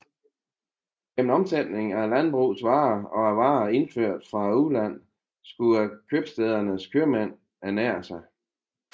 Igennem omsætning af landbrugets varer og af varer indført fra udlandet skulle købstædernes købmænd ernære sig